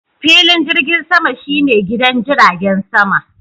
Filin jirgin sama shi ne gidan jiragen sama.